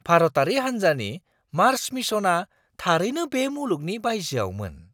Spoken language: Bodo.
भारतारि हान्जानि मार्स मिशनआ थारैनो बे मुलुगनि बायजोआवमोन!